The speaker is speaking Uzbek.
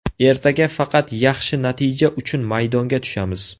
Ertaga faqat yaxshi natija uchun maydonga tushamiz.